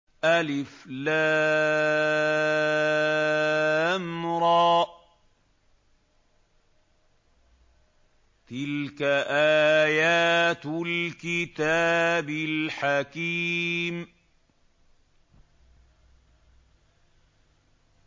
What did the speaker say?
الر ۚ تِلْكَ آيَاتُ الْكِتَابِ الْحَكِيمِ